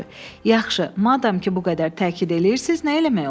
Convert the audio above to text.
Yaxşı, madam ki, bu qədər təkid eləyirsiz, nə eləmək olar?